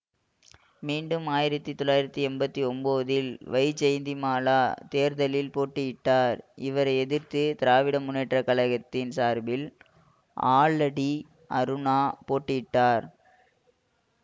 மீண்டும் ஆயிரத்தி தொளாயிரத்தி எண்பத்தி ஒன்பதில் வைஜெயந்திமாலா தேர்தலில் போட்டியிட்டார் இவரை எதிர்த்து திராவிட முன்னேற்ற கழகத்தின் சார்பில் ஆலடி அருணா போட்டியிட்டார்